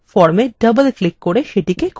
এই হল form